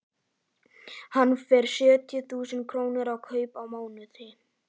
Hann fær sjötíu þúsund krónur í kaup á mánuði.